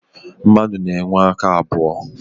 Mmadụ na-enwe aka abụọ.